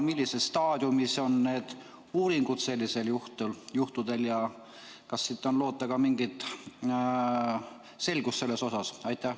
Millises staadiumis on need uuringud ja kas on loota ka mingit selgust selles osas?